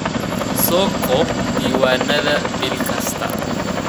Soo koob diiwaannada bil kasta.